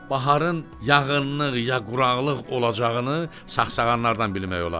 Baharın yağıntılıq ya quraqlıq olacağını sağsağanlardan bilmək olar.